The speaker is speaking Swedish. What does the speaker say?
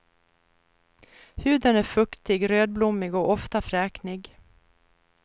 Huden är fuktig, rödblommig och ofta fräknig.